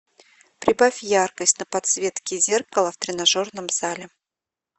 прибавь яркость на подсветке зеркала в тренажерном зале